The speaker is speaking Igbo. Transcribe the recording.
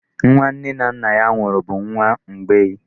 Nwa nne na nna ya nwụrụ bụ nwa mgbei